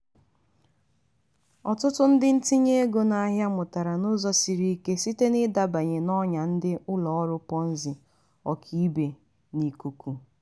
ọtụtụ ndị ntinye ego n'ahịa mụtara n'ụzọ siri ike site n'ịdabanye n'ọnya ndị ụlọ ọrụ ponzi ọkaibe n'ikuku.